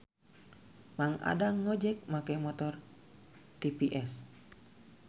Mang Adang ngojek make motor TVS